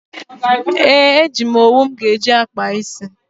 Ee, eji m owu m ga-eji kpaa ísí.